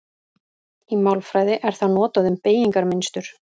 Í málfræði er það notað um beygingarmynstur.